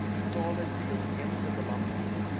totale deelnemende belange